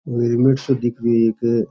यो हेलमेट सा दिख रियो है एक --